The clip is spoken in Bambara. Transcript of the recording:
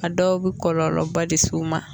A dɔw bɛ kɔlɔlɔba de s'u ma